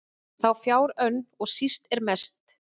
þá fjár önn og síst er mest